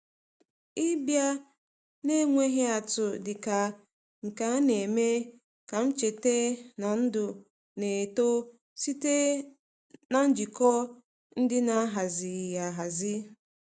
Ịbịa n’enweghị atụ dị ka nke a na-eme ka m cheta na ndụ na-eto site na njikọ ndị a na-ahaziịghị ahazi.